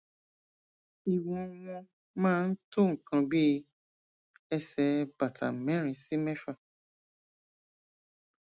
ìwọn wọn máa ń tó nǹkan bí ẹsẹ bàtà mẹrin sí mẹfà